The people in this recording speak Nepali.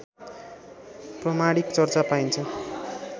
प्रमाणिक चर्चा पाइन्छ